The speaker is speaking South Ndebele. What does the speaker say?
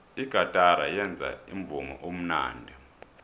igatara yenza umvumo omnandi